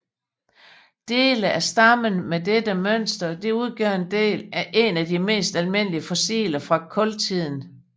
Dele af stammen med dette mønster udgør en af de mest almindelige fossiler fra kultiden